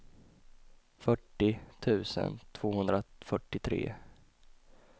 fyrtio tusen tvåhundrafyrtiotre